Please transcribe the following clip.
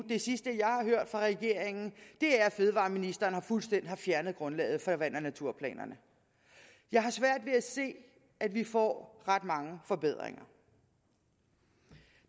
det sidste jeg har hørt fra regeringen er at fødevareministeren fuldstændig har fjernet grundlaget for vand og naturplanerne jeg har svært ved at se at vi får ret mange forbedringer